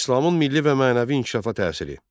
İslamın milli və mənəvi inkişafa təsiri.